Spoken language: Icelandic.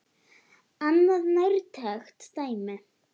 Annað nærtækt dæmi.